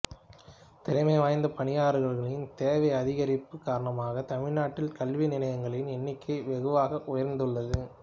திறமை வாய்ந்த பணியாளர்களின் தேவை அதிகரிப்பு காரணமாக தமிழ்நாட்டில் கல்வி நிலையங்களின் எண்ணிக்கை வெகுவாக உயர்ந்துள்ளது